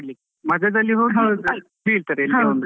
ಮಜದಲ್ಲಿ ಹೋಗಿ .